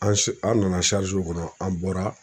An an nana kɔnɔ an bɔra.